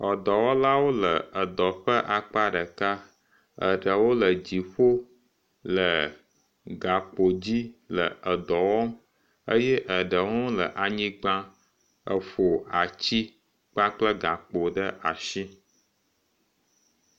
Edɔwɔlawo le edɔ ƒe aka ɖeka. Eɖewo le dziƒo le gakpo dzi le edɔ wɔm. Eye eɖewo hã wole anyigba efɔ atsi kpakple gakpo ɖe ashi.